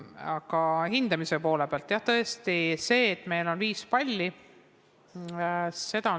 Aga hindamise poole pealt, jah, tõesti, meil on viiepallisüsteem.